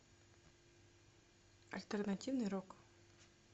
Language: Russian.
альтернативный рок